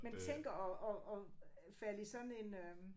Man tænker om om om at falde i sådan en øh